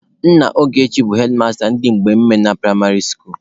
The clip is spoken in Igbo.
Nna Ogechi bụ hedmasta ndị Mgbemena pụraịmarị skuulu.